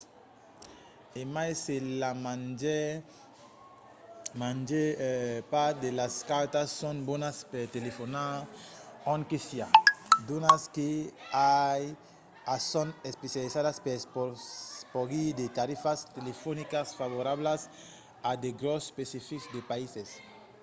e mai se la màger part de las cartas son bonas per telefonar ont que siá d’unas que i a son especializadas per porgir de tarifas telefonicas favorablas a de grops especifics de païses